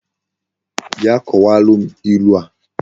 Bia kowara m ilu a!